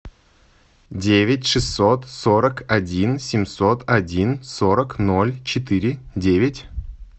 девять шестьсот сорок один семьсот один сорок ноль четыре девять